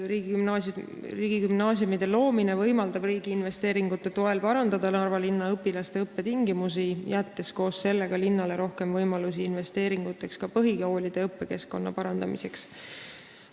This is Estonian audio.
Riigigümnaasiumide loomine võimaldab riigi investeeringute toel parandada Narva linna õpilaste õppetingimusi, jättes koos sellega linnale rohkem võimalusi investeerida ka põhikoolide õppekeskkonna parandamisse.